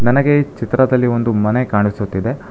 ನನಗೆ ಈ ಚಿತ್ರದಲ್ಲಿ ಒಂದು ಮನೆ ಕಾಣಿಸುತ್ತಿದೆ.